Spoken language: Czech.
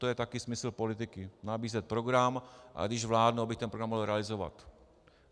To je také smysl politiky, nabízet program, a když vládnu, abych ten program mohl realizovat.